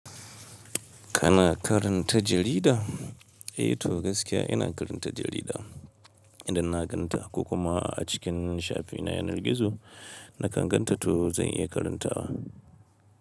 Kana karanta jarida? Eh to gaskiya ina karanta jarida idan na ganta ko kuma a cikin shafi na yanar gizo na kan ganta to zan iya karanta wa.